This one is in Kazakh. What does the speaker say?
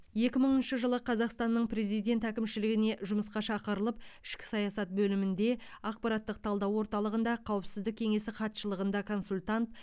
екі мыңыншы жылы қазақстанның президентінің әкімшілігіне жұмысқа шақырылып ішкі саясат бөлімінде ақпараттық талдау орталығында қауіпсіздік кеңесі хатшылығында консультант